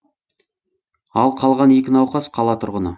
ал қалған екі науқас қала тұрғыны